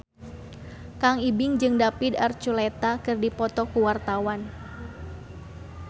Kang Ibing jeung David Archuletta keur dipoto ku wartawan